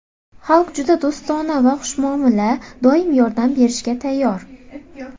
Xalqi juda do‘stona va xushmuomala, doim yordam berishga tayyor.